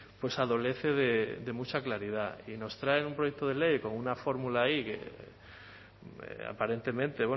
pues adolece de mucha claridad y nos traen un proyecto de ley con una fórmula ahí que aparentemente